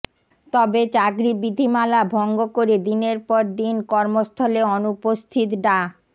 তবে চাকরি বিধিমালা ভঙ্গ করে দিনের পর দিন কর্মস্থলে অনুপস্থিত ডা